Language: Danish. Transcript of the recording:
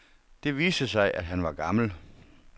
Det viste sig, at han var gammel.